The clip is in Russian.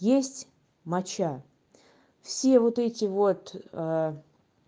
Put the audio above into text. есть моча все вот эти вот